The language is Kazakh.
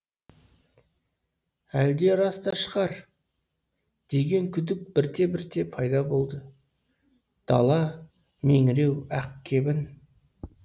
әлде рас та шығар деген күдік бірте бірте пайда болды дала меңіреу ақ кебін